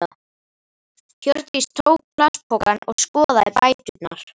Hjördís tók plastpokann og skoðaði bæturnar.